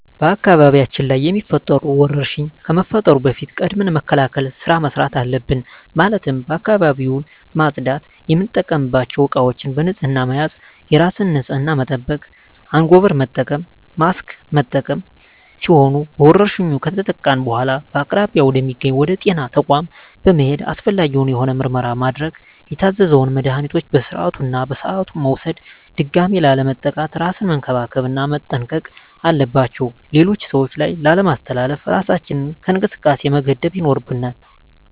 በአካባቢያችን ላይ የሚፈጠሩ ወረርሽኝ ከመፈጠሩ በፊት ቅድመ መከላከል ስራ መስራት አለብን ማለትም አካባቢውን ማፅዳት፣ የምንጠቀምባቸው እቃዎች በንህፅና መያዝ፣ የራስን ንፅህና መጠበቅ፣ አንጎበር መጠቀም፣ ማስክ መጠቀም ሲሆኑ በወረርሽኙ ከተጠቃን በኃላ በአቅራቢያ ወደ ሚገኝ ወደ ጤና ተቋም በመሔድ አስፈላጊውን የሆነ ምርመራ ማድረግ የታዘዘውን መድሀኒቶች በስርዓቱ እና በሰዓቱ መውሰድ ድጋሚ ላለመጠቃት እራስን መንከባከብ እና መጠንቀቅ አለባቸው ሌሎች ሰዎች ላይ ላለማስተላለፍ እራሳችንን ከእንቅስቃሴ መገደብ ይኖርብናል።